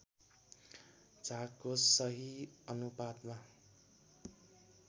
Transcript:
झागको सही अनुपातमा